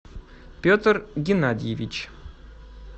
петр геннадьевич